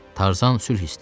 Tarzan sülh istəyir.